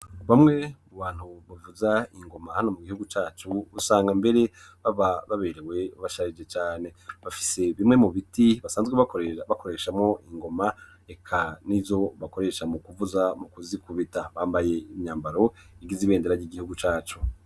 Kuri bamwe mu bantu bavuza ingoma hano mu gihugu cyacu usanga mbere baba baberewe basharije cyane, bafise bimwe mu biti basanzwe bakoreshamo ingoma eka nizo bakoresha mu kuvuza mu kuzikubita bambaye imyambaro igiz ibendera y'igihugu cacu.